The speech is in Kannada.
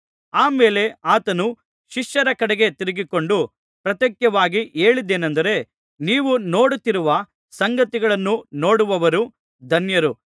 ಆ ಮೇಲೆ ಆತನು ಶಿಷ್ಯರ ಕಡೆಗೆ ತಿರುಗಿಕೊಂಡು ಪ್ರತ್ಯೇಕವಾಗಿ ಹೇಳಿದ್ದೇನೆಂದರೆ ನೀವು ನೋಡುತ್ತಿರುವ ಸಂಗತಿಗಳನ್ನು ನೋಡುವವರು ಧನ್ಯರು